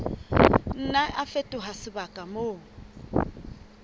nna a fetoha sebaka moo